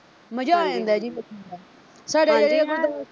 ਮਜ਼ਾ ਆ ਜਾਂਦਾ ਜੀ ਹਾਂਜੀ-ਹਾਂਜੀ ਦੱਸੋ।